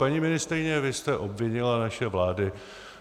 Paní ministryně, vy jste obvinila naše vlády,